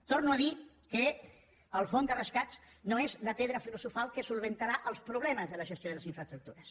torno a dir que el fons de rescat no és la pedra filosofal que resoldrà els problemes de la gestió de les infraestructures